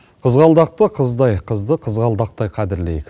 қызғалдақты қыздай қызды қызғалдақтай қадірлейік